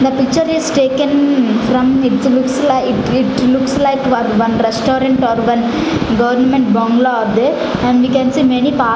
the picture is taken from it looks like it looks like one restaurant or one government bangla are there and we can see many park --